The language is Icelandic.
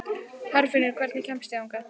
Herfinnur, hvernig kemst ég þangað?